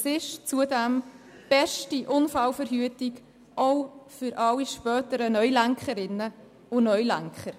Es ist zudem beste Unfallverhütung für alle spätere Neulenkerinnen und Neulenker.